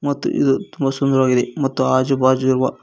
ಮತ್ತು ಇದು ತುಂಬಾ ಸುಂದರವಾಗಿದೆ ಮತ್ತು ಆಜು ಬಾಜಿರುವ.